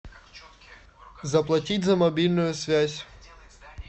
заплатить за мобильную связь